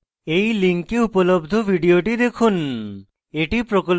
এই link উপলব্ধ video দেখুন